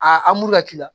A muru ka k'i la